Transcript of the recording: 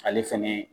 Ale fɛnɛ